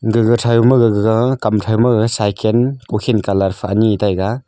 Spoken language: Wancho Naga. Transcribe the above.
gaga thauma gaga kam thauma gag cycan kukhin colour pha ani taiga.